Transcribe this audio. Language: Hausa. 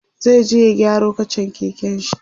zai je ya gyaro kachan keken shi